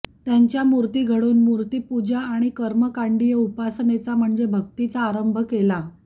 त्यांच्या मूर्ती घडवून मूर्तिपूजा आणि कर्मकाण्डीय उपासनेचा म्हणजेच भक्तीचा आरंभ केला